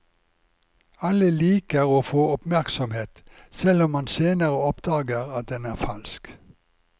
Alle liker å få oppmerksomhet, selv om man senere oppdager at den er falsk.